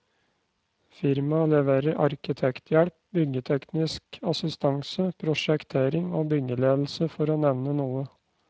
Firmaet leverer arkitekthjelp, byggeteknisk assistanse, prosjektering og byggeledelse for å nevne noe.